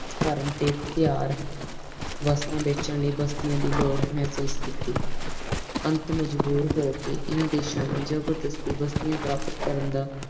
ਧਰਮ ਤੇ ਵਸਤਾਂ ਬੇਚਣ ਲਾਈ ਬਸਤੀਆਂ ਦੀ ਲੋੜ ਮਹਿਸੂਸ ਕੀਤੀ ਪ੍ਰੰਤੂ ਮਜਬੂਰ ਹੋਕੇ ਹਨ ਦੇਸ਼ ਨੇ ਜਬਰਦਸਤੀ ਹਨ ਦੇਸ਼ ਨੇ ਬਸਤੀਆਂ ਪ੍ਰ੍ਰਤ ਕਰਨ ਦਾ